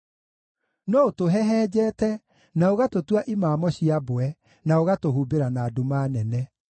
No ũtũhehenjete, na ũgatũtua imamo cia mbwe, na ũgatũhumbĩra na nduma nene.